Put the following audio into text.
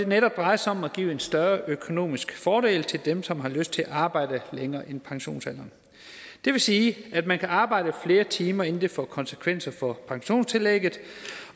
netop drejer sig om at give en større økonomisk fordel til dem som har lyst til at arbejde længere end til pensionsalderen det vil sige at man kan arbejde flere timer inden det får konsekvenser for pensionstillægget